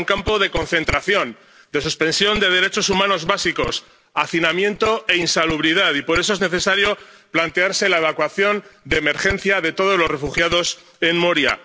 Era un campo de concentración, de suspensión de derechos humanos básicos, hacinamiento e insalubridad, y por eso es necesario plantearse la evacuación de emergencia de todos los refugiados en Moria.